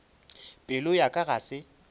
pelo ya ka ga se